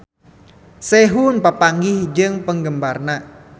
Sehun papanggih jeung penggemarna